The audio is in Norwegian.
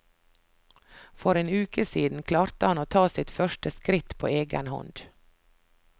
For en uke siden klarte han å ta sine første skritt på egen hånd.